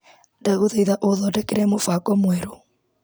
Ndagũthaitha ũthondekere mũbango mwerũ .